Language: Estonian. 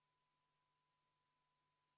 Poolt oli 3 ja vastu 55, ettepanek ei leidnud toetust.